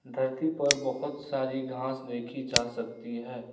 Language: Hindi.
धरती पर बहुत सारी घास देखी जा सकती है।